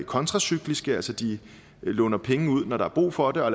kontracykliske altså de låner penge ud når der er brug for det og